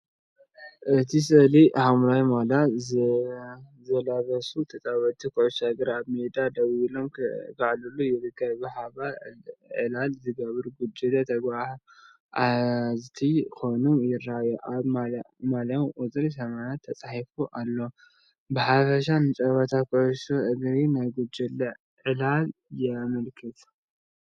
ኣብቲ ስእሊ፡ ሐምላይ ማልያ ዝለበሱ ተጻወትቲ ኩዕሶ እግሪ ኣብ ሜዳ ደው ኢሎም ክዕልሉ ይረኣዩ። ብሓባር ዕላል ዝገብሩ ጉጅለ ተጓዓዝቲ ኮይኖም ይረኣዩ። ኣብ ማልያታቶም ቁጽርን ኣስማትን ተጻሒፉ ኣሎ። ብሓፈሻ ንጸወታ ኩዕሶ እግርን ናይ ጉጅለ ዕላልን የመልክት።